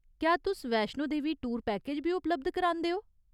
क्या तुस Vaishno Devi tour package बी उपलब्ध करांदे ओ ?